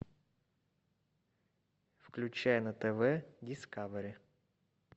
включай на тв дискавери